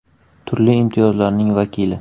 Turli imtiyozlarning vakili.